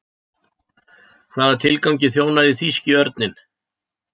hvaða tilgangi þjónaði þýski örninn